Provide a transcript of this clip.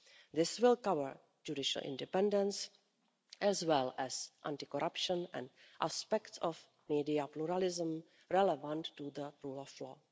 This will cover judicial independence, as well as anti corruption and aspects of media pluralism relevant to the rule of